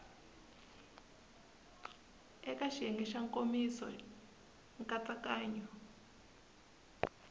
eka xiyenge xa nkomiso nkatsakanyo